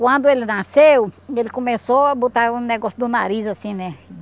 Quando ele nasceu, ele começou a botar um negócio do nariz assim, né?